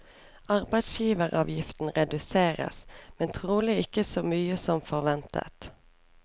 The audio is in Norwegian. Arbeidsgiveravgiften reduseres, men trolig ikke så mye som forventet.